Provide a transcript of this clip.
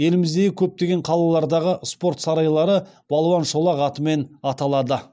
еліміздегі көптеген қалалардағы спорт сарайлары балуан шолақ атымен аталады